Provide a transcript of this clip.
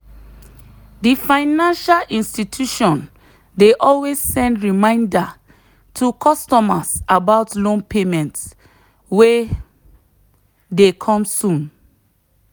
the financial institution dey always send reminder to customers about loan payment wey dey come soon.